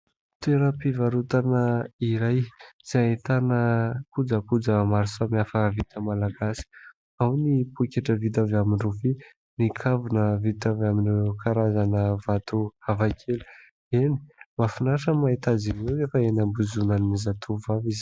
Toeram-pivarotana iray izay ahitana kojakoja maro samihafa vita Malagasy : ao ny pôketra vita avy amin'ny rofia, ny kavina vita avy amin'ireo karazana vato hafakely. Eny, mahafinaritra no mahita azy ireo rehefa eny iambozonan'ny zatovavy izy.